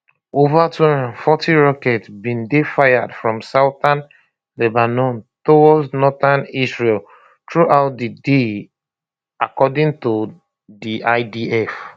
ova 240 rockets bin dey fired from southern lebanon towards northern israel throughout di day according to di idf